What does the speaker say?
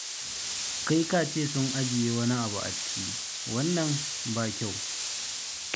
Kai ka ce sun ajiye wani abu a ciki, wannan ba kyau.